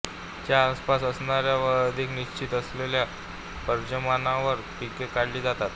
च्या आसपास असणाऱ्या व अधिक निश्चित असलेल्या पर्जन्यमानावर पिके काढली जातात